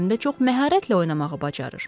Həm də çox məharətlə oynamağı bacarır.